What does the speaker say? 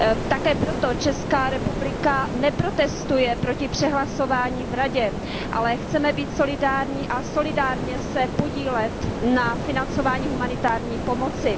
Také proto Česká republika neprotestuje proti přehlasování v Radě, ale chceme být solidární a solidárně se podílet na financování humanitární pomoci.